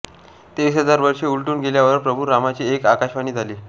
तेवीस हजार वर्षे उलटून गेल्यावर प्रभू रामाची एक आकाशवाणी झाली